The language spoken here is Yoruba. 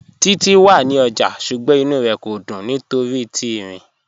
Títi wà ní ọ́jà, ṣùgbọ́n ìnú rẹ kò dún nítorí ti írin